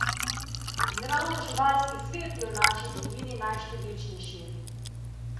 In ravno živalski svet je v naši dolini najštevilčnejši!